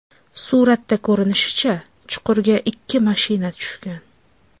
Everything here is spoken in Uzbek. Suratdan ko‘rinishicha, chuqurga ikki mashina tushgan.